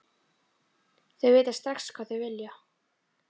Þau vita strax hvað þau vilja.